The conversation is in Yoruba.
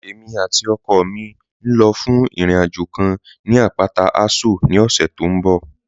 Ẹ̀mi àti ọkọ mi ń lọ́ fún ìrìn-àjọ̀ kàn ni apátà Àṣọ̀ ní ọ̀ṣẹ̀ tí n bọ̀